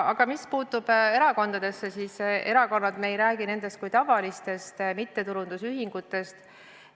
Aga mis puutub erakondadesse, siis me ei räägi nendest kui tavalistest mittetulundusühingutest.